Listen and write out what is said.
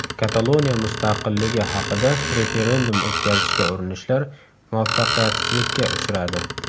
Kataloniya mustaqilligi haqida referendum o‘tkazishga urinishlar muvaffaqiyatsizlikka uchradi.